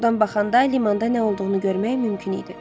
Oradan baxanda limanda nə olduğunu görmək mümkün idi.